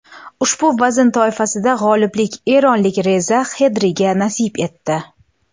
Ushbu vazn toifasida g‘oliblik eronlik Reza Xedriga nasib etdi.